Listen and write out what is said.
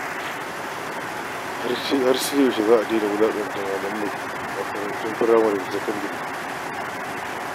Har sai yaushe za a daina wulaƙanta malamai a makarantun sakandare da na firamare.